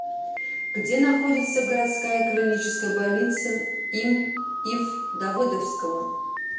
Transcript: где находится городская клиническая больница им ив давыдовского